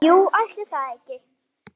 Jú, ætli það ekki.